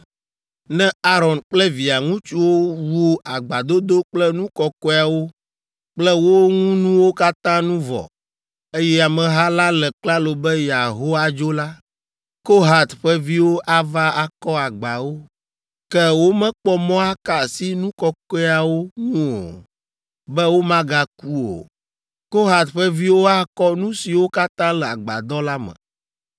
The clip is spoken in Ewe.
“Ne Aron kple via ŋutsuwo wu agbadodo kple nu kɔkɔeawo kple wo ŋunuwo katã nu vɔ, eye ameha la le klalo be yeaho adzo la, Kohat ƒe viwo ava akɔ agbawo. Ke womekpɔ mɔ aka asi nu kɔkɔeawo ŋu o, be womagaku o. Kohat ƒe viwo akɔ nu siwo katã le agbadɔ la me.